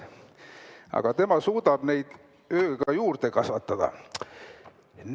Aga tema suudab neid ööga juurde kasvatada.